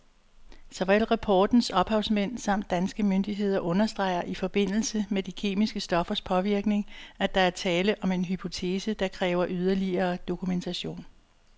Såvel rapportens ophavsmænd samt danske myndigheder understreger i forbindelse med de kemiske stoffers påvirkning, at der er tale om en hypotese, der kræver yderligere dokumentation.